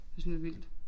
Det synes jeg er vildt